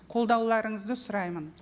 қолдауларыңызды сұраймын